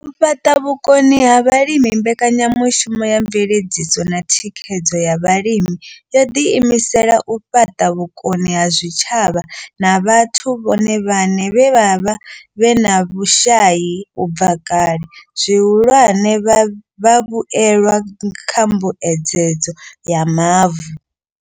U fhaṱa vhukoni kha vhalimi mbekanyamushumo ya mveledziso na thikhedzo ya Vhalimi yo ḓi imisela u fhaṱa vhukoni kha zwitshavha na vhathu vhone vhaṋe vhe vha vha vhe na vhushai u bva kale, zwihulwane, vhavhuelwa kha mbuedzedzo ya mavu.